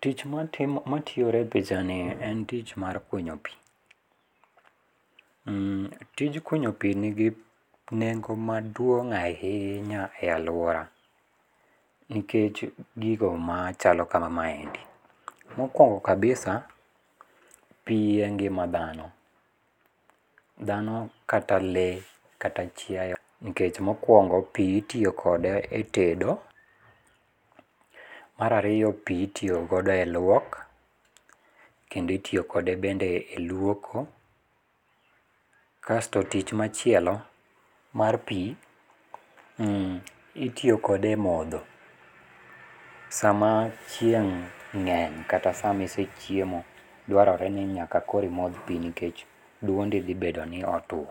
Tich matiyore e pichani en tich mar kunyo pi. Tij kunyo pi nigi nengo maduong' ahinya e alwora, nikech gigo machalo kaka maendi. Mokwongo kabisa, pi e ngima dhano. Dhano kata lee kata chiaye, nikech mokwongo pi itiyo kode e tedo. Mar ariyo pi itiyo godo e lwok. Kendo itiyo kode e lwoko. Kasto tich machielo, mar pi itiyo kode e modho. Sama chieng' ng'eny kata sama isechiemo, dwarore ni nyaka koro imodh pi nikech dwondi dhibedo ni otwo.